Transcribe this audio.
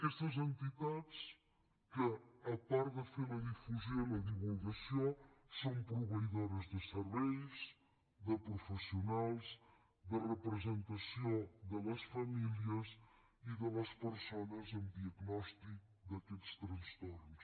aquestes entitats a part de fer la difusió i la divulgació són proveïdores de serveis de professionals de representació de les famílies i de les persones amb diagnòstic d’aquests trastorns